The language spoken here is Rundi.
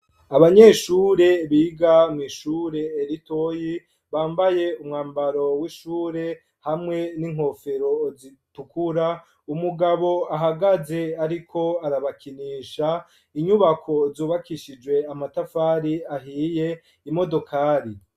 Abanyeshure biga mw'ishure elitoyi bambaye umwambaro w'ishure hamwe n'inkofero zitukura umugabo ahagaze, ariko arabakinisha inyubako zubakishijwe amatafari ahiye imodokali.